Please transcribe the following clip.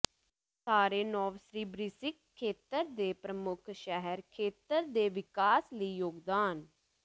ਸਾਰੇ ਨੋਵਸਿਬਿਰ੍ਸ੍ਕ ਖੇਤਰ ਦੇ ਪ੍ਰਮੁੱਖ ਸ਼ਹਿਰ ਖੇਤਰ ਦੇ ਵਿਕਾਸ ਲਈ ਯੋਗਦਾਨ